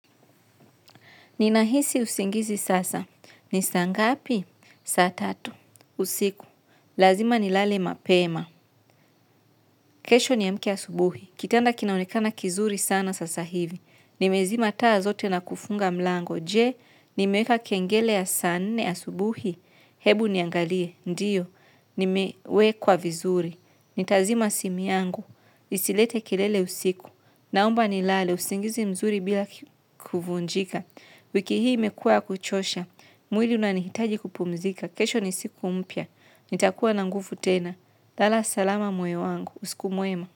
Ninahisi usingizi sasa. Ni saa ngapi? Saa tatu usiku. Lazima nilale mapema. Kesho niamke asubuhi. Kitanda kinaonekana kizuri sana sasa hivi. Nimezima taa zote na kufunga mlango. Je, nimeweka kengele ya saa nne asubuhi. Hebu niangalie. Ndiyo. Nimewekwa vizuri. Nitazima simu yangu. Isilete kelele usiku. Naomba nilale. Usingizi mzuri bila kufunjika. Wiki hii imekuwa ya kuchosha. Mwili unanihitaji kupumzika. Kesho ni siku mpya. Nitakuwa na nguvu tena. Lala salama moyo wangu. Usiku mwema.